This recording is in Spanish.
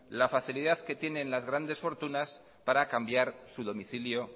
la facilidad que tienen las grandes fortunas para cambiar su domicilio